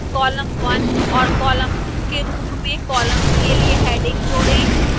column one और column two के रूप में columns के लिए headings जोड़ें